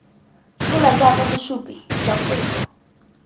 tshola jaaka bosupi jwa kopo